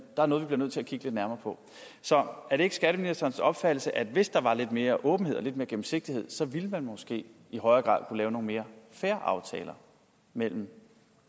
er noget vi bliver nødt til at kigge lidt nærmere på så er det ikke skatteministerens opfattelse at hvis der var lidt mere åbenhed og lidt mere gennemsigtighed ville man måske i højere grad kunne lave nogle mere fair aftaler mellem